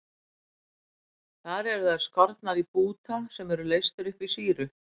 Þar eru þær skornar í búta sem eru leystir upp í sýru.